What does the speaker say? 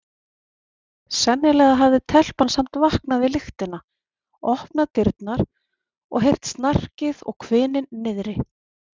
Sennilega hafði telpan samt vaknað við lyktina, opnað dyrnar og heyrt snarkið og hvininn niðri.